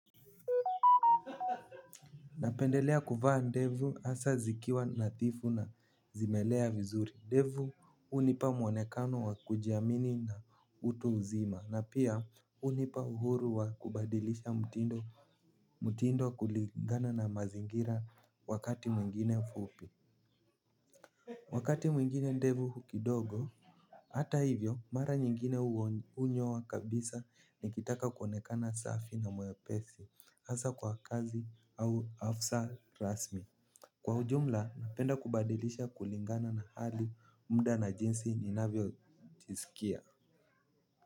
Napendelea kuvaa ndevu hasa zikiwa nadhifu na zimelea vizuri ndevu hunipa mwonekano wa kujiamini na utu uzima na pia hunipa uhuru wa kubadilisha mtindo kulingana na mazingira wakati mwingine fupi. Wakati mwingine ndevu hu kidogo. Hata hivyo mara nyingine hunyoa kabisa nikitaka kuonekana safi na mwepesi hasa kwa kazi au hafsa rasmi kwa ujumla napenda kubadilisha kulingana na hali mda na jinsi ninavyo jiskia.